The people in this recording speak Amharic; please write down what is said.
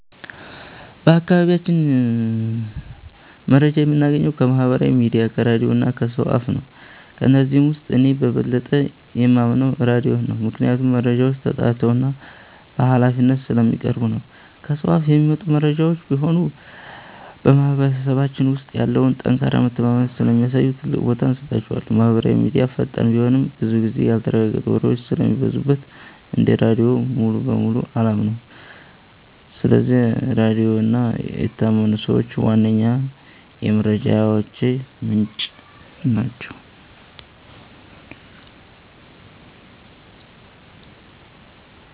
በአካባቢያችን መረጃ የምናገኘው ከማህበራዊ ሚዲያ፣ ከራድዮ እና ከሰው አፍ ነው። ከነዚህም ውስጥ እኔ በበለጠ የማምነው ራድዮን ነው፤ ምክንያቱም መረጃዎች ተጣርተውና በሃላፊነት ስለሚቀርቡ ነው። ከሰው አፍ የሚመጡ መረጃዎችም ቢሆኑ በማህበረሰባችን ውስጥ ያለውን ጠንካራ መተማመን ስለሚያሳዩ ትልቅ ቦታ እሰጣቸዋለሁ። ማህበራዊ ሚዲያ ፈጣን ቢሆንም፣ ብዙ ጊዜ ያልተረጋገጡ ወሬዎች ስለሚበዙበት እንደ ራድዮ ሙሉ በሙሉ አላምነውም። ስለዚህ ራድዮ እና የታመኑ ሰዎች ዋነኛ የመረጃ ምንጮቼ ናቸው።